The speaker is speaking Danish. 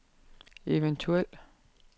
eventuel